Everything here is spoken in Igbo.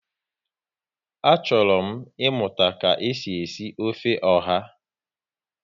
Achọrọ m ịmụta ka e si esi ofe ọha